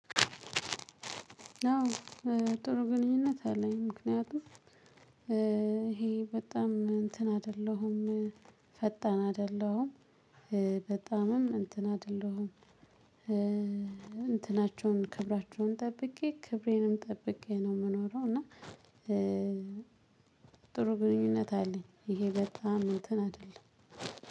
አዎ ጥሩ ግንኙነት አለኝ። ምክንያቱም ይሄ በጣም እንትን አይደለሁም። ፈጣን አይደለሁም። በጣምም እንትን አይደለሁም። እንትናቸውን ክብራቸውን ጠብቄ ክብሬንም ጠብቄ ነው የምኖረው። እና ጥሩ ግንኙነት አለኝ። ይሄ በጣም እንትን አይደለም